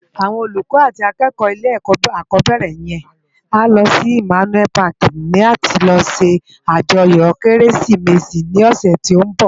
Áwòn ólúkò àti ákèkò ilé èkò ákòbèrè yèn á lò si Immanuel pàki làti lò sé àjòyò Kérésimési lòsè tó n bò